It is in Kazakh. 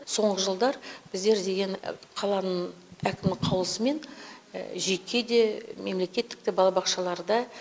соңғы жылдар біздер деген қаланың әкімі қаулысымен жеке де мемлекеттік те балабақшаларда